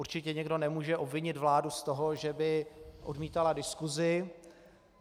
Určitě nikdo nemůže obvinit vládu z toho, že by odmítala diskusi.